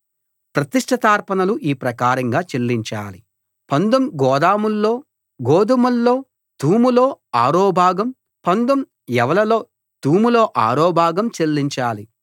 ప్రతిష్ఠితార్పణలు ఈ ప్రకారంగా చెల్లించాలి పందుం గోదుమల్లో తూములో ఆరో భాగం పందుం యవలులో తూములో ఆరో భాగం చెల్లించాలి